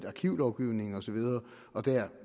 arkivlovgivningen osv og der